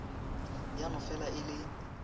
ya no fela e le